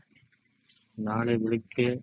ನಾಳೆ ಬೆಳಿಗ್ಗೆ